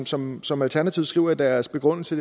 som som alternativet skriver i deres begrundelse